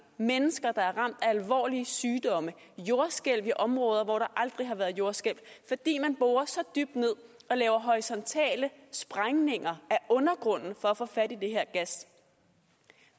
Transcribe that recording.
mennesker der er ramt af alvorlige sygdomme jordskælv i områder hvor der aldrig har været jordskælv fordi man borer så dybt ned og laver horisontale sprængninger af undergrunden for at få fat i den her gas